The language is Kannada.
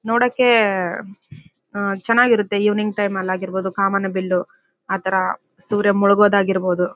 ನೋಡಕೆ ಹಾ ಚೆನ್ನಾಗಿರುತ್ತೆ ಇವಿನಿಂಗ್ ಟೈಮ್ ಲಿ ಆಗಿರ್ಬೋದು ಕಾಮನಬಿಲ್ಲು ಆ ತರ ಸೂರ್ಯ ಮುಳುಗೋದಾಗಿರಬಹುದು--